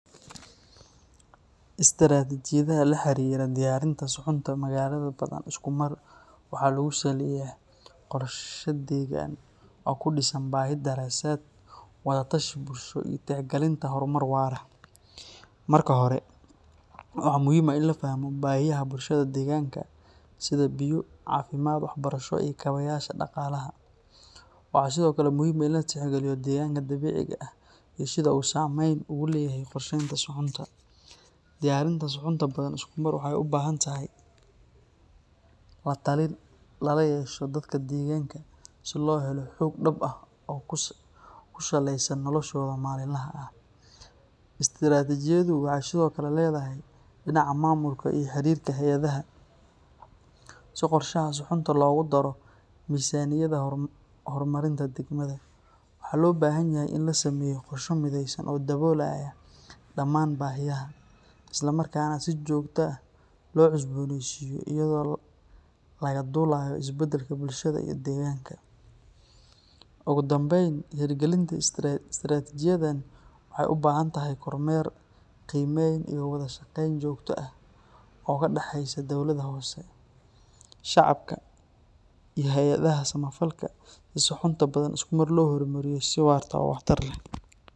Istiraatiijiyadaha la xiriira diyaarinta suxunta magaalada Badhan iskumar waxaa lagu saleeyaa qorshe deegaan oo ku dhisan baahi-daraasad, wada-tashi bulsho, iyo tixgelinta horumar waara. Marka hore, waxaa muhiim ah in la fahmo baahiyaha bulshada deegaanka sida biyo, caafimaad, waxbarasho, iyo kaabayaasha dhaqaalaha. Waxaa sidoo kale muhiim ah in la tixgeliyo deegaanka dabiiciga ah iyo sida uu saamayn ugu leeyahay qorsheynta suxunta. Diyaarinta suxunta Badhan iskumar waxay u baahan tahay la-talin lala yeesho dadka deegaanka si loo helo xog dhab ah oo ku saleysan noloshooda maalinlaha ah. Istiraatiijiyaddu waxay sidoo kale leedahay dhinaca maamulka iyo xiriirka hay’adaha, si qorshaha suxunta loogu daro miisaaniyadda horumarinta degmada. Waxaa loo baahan yahay in la sameeyo qorshe midaysan oo daboolaya dhamaan baahiyaha, isla markaana si joogto ah loo cusbooneysiiyo iyadoo laga duulayo isbedelka bulshada iyo deegaanka. Ugu dambeyn, hirgelinta istiraatiijiyaddan waxay u baahan tahay kormeer, qiimeyn iyo wadashaqeyn joogto ah oo ka dhexeysa dawladda hoose, shacabka iyo hay’adaha samafalka si suxunta Badhan iskumar loo hormariyo si waarta oo waxtar leh.